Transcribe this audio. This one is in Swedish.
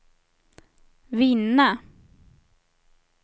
vinna